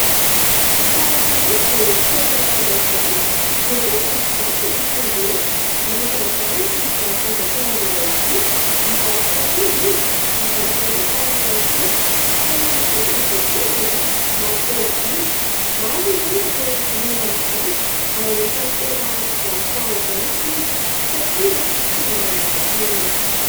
Rehefa alakamisy dia tsenan' Andravoahangy. Betsaka ny mpivarotra no tonga eny, anisan'izany ity mpivarotra voankazo iray ity : mivarotra akondro izy, mivarotra voasary ihany koa. Tena masaka ny voankazony, mampitehividy. Maro ny olona no liana amin'izany ary anisan'ny tena mpivarotra azo antoka izy, satria tsy mba manambaka olona izany.